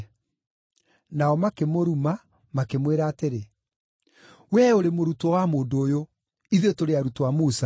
Nao makĩmũruma, makĩmwĩra atĩrĩ, “Wee ũrĩ mũrutwo wa mũndũ ũyũ! Ithuĩ tũrĩ arutwo a Musa!